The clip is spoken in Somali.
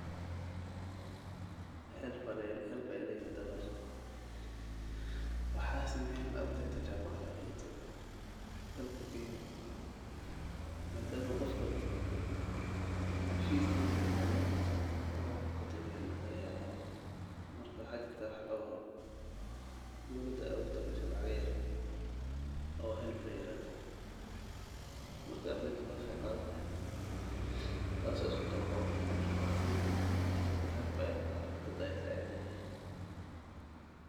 Ardayda dhigata jaamacadaha waxay qabtaan hawlo kala duwan si ay u gaaraan himilooyinkooda waxbarasho iyo kuwa nolosheed. Marka hore, waajibaadkooda ugu weyn waa waxbarashada. Waxay dhigtaan koorsooyin ku saleysan xirfadooda